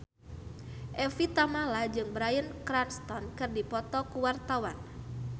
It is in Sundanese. Evie Tamala jeung Bryan Cranston keur dipoto ku wartawan